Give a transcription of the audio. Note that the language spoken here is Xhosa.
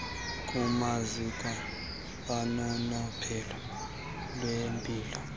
kumaziko ononophelo lwempilo